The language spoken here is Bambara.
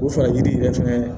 O fara yiri yɛrɛ fɛnɛ